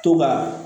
To ka